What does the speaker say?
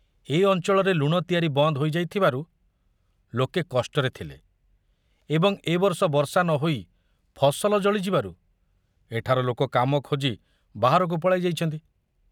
ଏ ଅଞ୍ଚଳରେ ଲୁଣ ତିଆରି ବନ୍ଦ ହୋଇ ଯାଇଥିବାରୁ ଲୋକେ କଷ୍ଟରେ ଥିଲେ ଏବଂ ଏ ବର୍ଷ ବର୍ଷା ନ ହୋଇ ଫସଲ ଜଳି ଯିବାରୁ ଏଠାର ଲୋକ କାମ ଖୋଜି ବାହାରକୁ ପଳାଇ ଯାଇଛନ୍ତି।